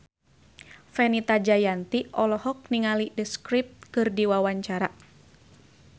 Fenita Jayanti olohok ningali The Script keur diwawancara